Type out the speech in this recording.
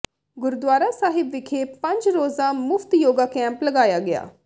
ਗੁਰਦੁਆਰਾ ਸਾਹਿਬ ਵਿਖੇ ਪੰਜ ਰੋਜ਼ਾ ਮੁਫ਼ਤ ਯੋਗਾ ਕੈਂਪ ਲਗਾਇਆ ਗਿਆ